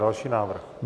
Další návrh.